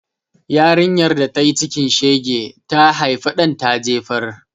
Yarinyar da tayi cikin shege, ta haifa ɗan ta jefar.